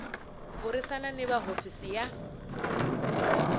burisana ni va hofisi ya